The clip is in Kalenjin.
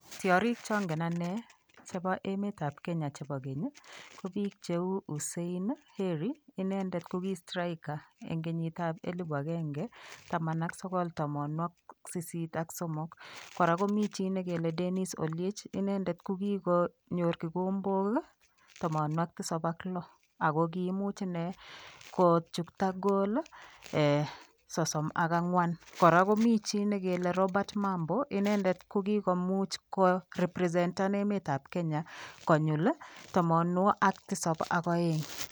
Tiarik chongen anne chebo emetab Kenya chebokeny, ko biik cheu Hussein Heri, inendet ko ki striker eng kenyitab 1983. Kora komi chi negele Dennis Oliech. Inendet ko kikonyor kikombok 706. Kiimuch inne kochokta goal ee 34. Kora ko mi ne kele Robert Mambo. Inendet ko kigomuch kwo ko represent en emetab Kenya, konyil 702.